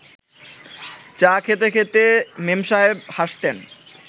চা খেতে খেতে মেমসাহেব হাসতেন